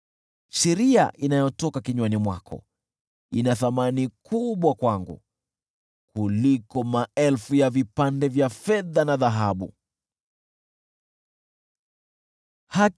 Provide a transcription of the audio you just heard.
Sheria inayotoka kinywani mwako ina thamani kubwa kwangu kuliko maelfu ya vipande vya fedha na dhahabu.